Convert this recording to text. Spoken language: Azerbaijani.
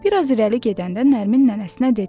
Bir az irəli gedəndə Nərmin nənəsinə dedi.